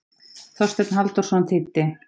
Þorsteinn Halldórsson þýddi.